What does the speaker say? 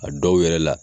A dɔw yɛrɛ la